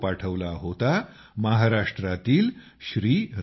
तो फोटो पाठवला होता महाराष्ट्रातील श्री